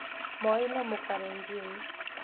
Moi nĩ mũkalenjin